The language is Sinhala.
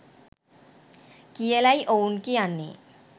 කියලයි ඔවුන් කියන්නේ